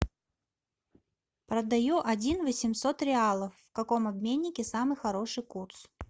продаю один восемьсот реалов в каком обменнике самый хороший курс